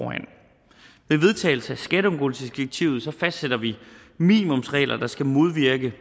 skatteundgåelsesdirektivet fastsætter vi minimumsregler der skal modvirke